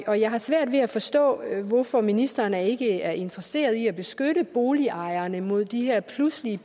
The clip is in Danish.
og jeg har svært ved at forstå hvorfor ministeren ikke er interesseret i at beskytte boligejerne mod de her pludselige